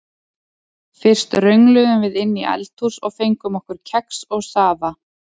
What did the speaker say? Fyrst röngluðum við inn í eldhús og fengum okkur kex og safa.